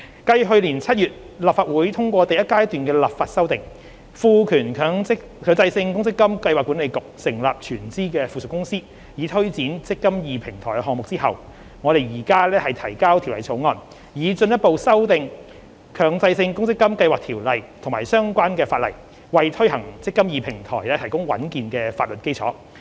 繼去年7月立法會通過第一階段的立法修訂，賦權強制性公積金計劃管理局成立全資附屬公司，以推展"積金易"平台項目後，我們現提交《條例草案》，以進一步修訂《強制性公積金計劃條例》及相關的法例，為推行"積金易"平台提供穩健的法律基礎。